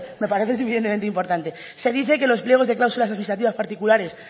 me parece suficientemente importante se dice que los pliegos de cláusulas administrativas particulares